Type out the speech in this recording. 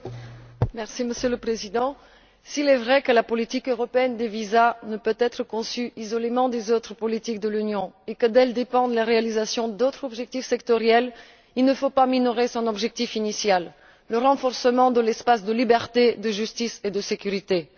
Monsieur le Président, s'il est vrai que la politique européenne des visas ne peut être conçue indépendamment des autres politiques de l'Union et qu'elle conditionne la réalisation d'autres objectifs sectoriels, il ne faut pas minorer son objectif initial le renforcement de l'espace de liberté, de sécurité et de justice.